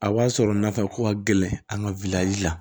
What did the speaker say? A b'a sɔrɔ nafako ka gɛlɛn an ka la